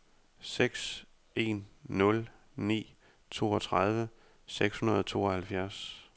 seks en nul ni toogtredive seks hundrede og tooghalvfjerds